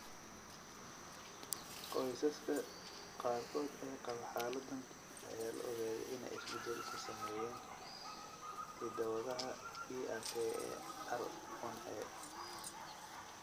Qoysaska qaarkood ee qaba xaaladdan ayaa la ogaaday inay isbeddel ku sameeyeen hidda-wadaha PRKAR1A.